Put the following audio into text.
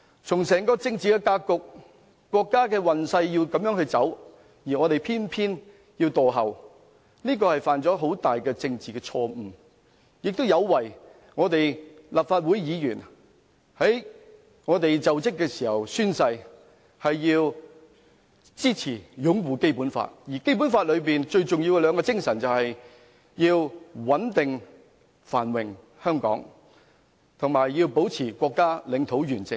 從整個政治格局，國家的運勢要這樣走，而我們偏要墮後，這犯下了很大政治錯誤，亦有違立法會議員就職時宣誓支持、擁護《基本法》的誓言，而《基本法》最重要的兩種精神是要香港穩定繁榮，以及保持國家領土完整。